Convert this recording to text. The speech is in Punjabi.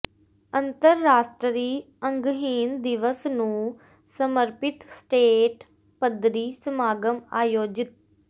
ਅੰਤਰਰਾਸ਼ਟਰੀ ਅੰਗਹੀਣ ਦਿਵਸ ਨੂੰ ਸਮਰਪਿਤ ਸਟੇਟ ਪੱਧਰੀ ਸਮਾਗਮ ਆਯੋਜਿਤ